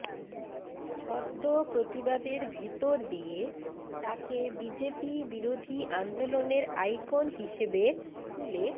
ছদ্ম প্রতিবাদের ভেতর দিয়ে তাকে বিজেপিবিরোধী আন্দোলনের আইকন হিসেবে তুলে